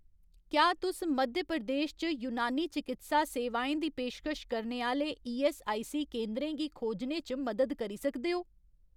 क्या तुस मध्य प्रदेश च यूनानी चकित्सा सेवाएं दी पेशकश करने आह्‌ले ईऐस्सआईसी केंदरें गी खोजने च मदद करी सकदे ओ ?